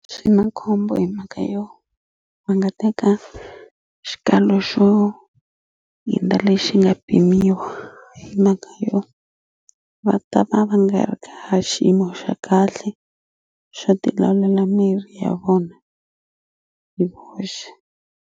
Xi na khombo hi mhaka yo va nga teka xikalo xo hindza lexi nga pimiwa hi mhaka yo va ta va va nga ri xiyimo xa kahle xo ti lawulela miri ya vona hi voxe.